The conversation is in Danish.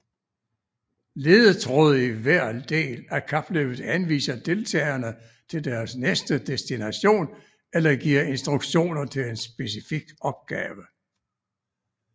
Ledetråde i hver del af kapløbet henviser deltagerne til deres næste destination eller giver instruktioner til en specifik opgave